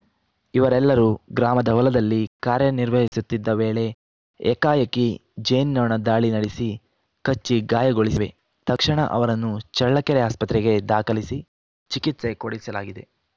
ಇವರೆಲ್ಲರೂ ಗ್ರಾಮದ ಹೊಲದಲ್ಲಿ ಕಾರ್ಯನಿರ್ವಹಿಸುತ್ತಿದ್ದ ವೇಳೆ ಏಕಾಏಕಿ ಜೇನ್ನೋಣ ದಾಳಿ ನಡೆಸಿ ಕಚ್ಚಿ ಗಾಯಗೊಳಿಸಿವೆ ತಕ್ಷಣ ಅವರನ್ನು ಚಳ್ಳಕೆರೆ ಆಸ್ಪತ್ರೆಗೆ ದಾಖಲಿಸಿ ಚಿಕಿತ್ಸೆ ಕೊಡಿಸಲಾಗಿದೆ